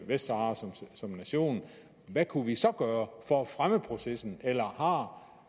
vestsahara som nation hvad kunne vi så gøre for at fremme processen eller har